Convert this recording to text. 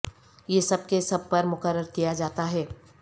یہ سب کے سب پر مقرر کیا جاتا ہے